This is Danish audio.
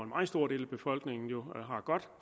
meget stor del af befolkningen har godt